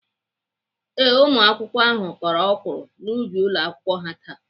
Ee, ụmụakwụkwọ ahụ kọrọ ọkwụrụ n'ubi ụlọakwụkwọ ha taa.